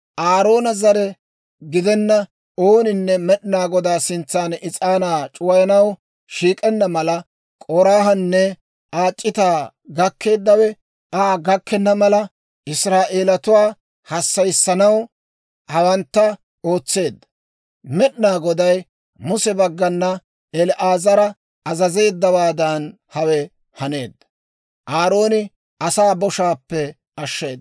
Aaroona zare gidenna ooninne Med'inaa Godaa sintsan is'aanaa c'uwayanaw shiik'enna mala, K'oraahanne Aa c'itaa gakkeeddawe Aa gakkenna mala, Israa'eelatuwaa hassayissanaw hawantta ootseedda. Med'inaa Goday Muse baggana El"aazara azazeeddawaadan hawe haneedda.